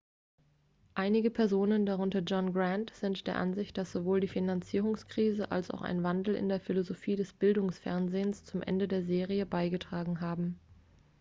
einige personen darunter john grant sind der ansicht dass sowohl die finanzierungskrise als auch ein wandel in der philosophie des bildungsfernsehens zum ende der serie beigetragen haben